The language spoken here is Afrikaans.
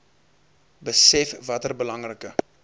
besef watter belangrike